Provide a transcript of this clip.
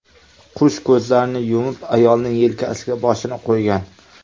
Qush ko‘zlarini yumib, ayolning yelkasiga boshini qo‘ygan.